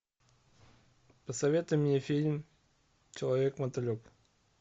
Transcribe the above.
посоветуй мне фильм человек мотылек